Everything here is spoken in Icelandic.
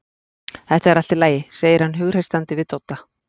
Þetta er allt í lagi, segir hann hughreystandi við Dodda.